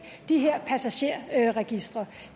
de her passagerregistre